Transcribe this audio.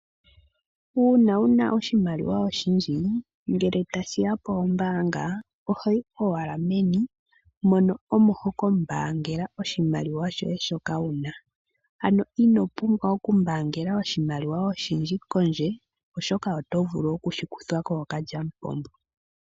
Uuna wuna oshimaliwa oshindji, ngele ta shiya poombaanga ohoyi owala meni mono omo hoka mbaangela oshimaliwa shoye shoka wuna. Ano ino pumbwa oku mbaangela oshimaliwa oshindji kondje, oshoka oto vulu okushi kuthwa kookalyamupombo.